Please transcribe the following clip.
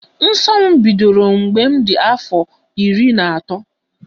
Nsọ m bidoro mgbe m dị afọ iri na otu.